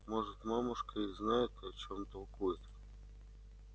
может мамушка и знает о чём толкует